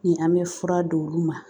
Ni an bɛ fura d'olu ma